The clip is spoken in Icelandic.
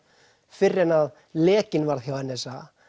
fyrr en að lekinn varð hjá n s a